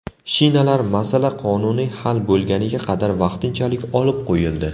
Shinalar masala qonuniy hal bo‘lguniga qadar vaqtinchalik olib qo‘yildi.